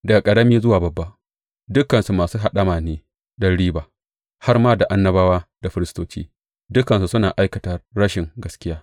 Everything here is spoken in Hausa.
Daga ƙarami zuwa babba, dukansu masu haɗama ne don riba; har da annabawa da firistoci, dukansu suna aikata rashin gaskiya.